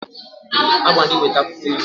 A gwara gi weta akwukwo ilu.